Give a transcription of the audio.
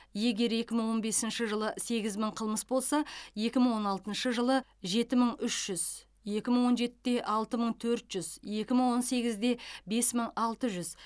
егер екі мың он бесінші жылы сегіз мың қылмыс болса екі мың он алтыншы жылы жеті мың үш жүз екі мың он жетіде алты мың төрт жүз екі мың он сегізде бес мың алты жүз